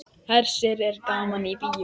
Hersir er gaman í bíó?